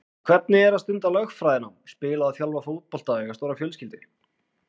En hvernig er að stunda lögfræðinám, spila og þjálfa fótbolta og eiga stóra fjölskyldu?